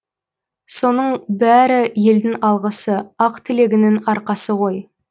соның бәрі елдің алғысы ақ тілегінің арқасы ғой